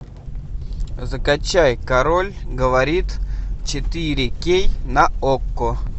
закачай король говорит четыре кей на окко